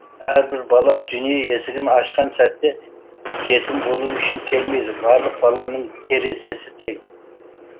әрбір бала дүние есігін ашқан сәтте жетім болу үшін келмейді барлық баланың терезесі тең